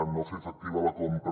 no fer efectiva la compra